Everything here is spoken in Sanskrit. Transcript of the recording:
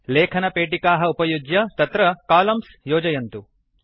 लेखनपेटिकाः उपयुज्य तत्र कोलम्न्स् योजयन्तु